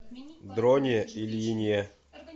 дроне ильине